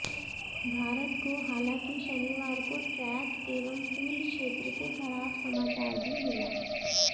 भारत को हालांकि शनिवार को ट्रैक एवं फील्ड क्षेत्र से खराब समाचार भी मिला